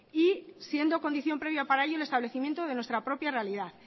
y siendo condición previa para ello el establecimiento de nuestra propia realidad